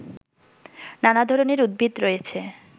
নানা ধরনের উদ্ভিদ রয়েছে